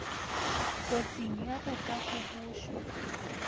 kotsing ya go ka gobošwa